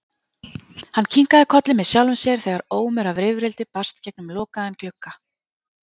Hann kinkaði kolli með sjálfum sér þegar ómur af rifrildi barst gegnum lokaðan glugga.